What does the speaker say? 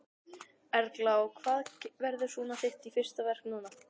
Erla: Og hvað verður svona þitt fyrsta verk núna?